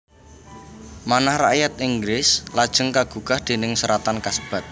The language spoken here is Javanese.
Manah rakyat Inggris lajeng kagugah déning seratan kasebat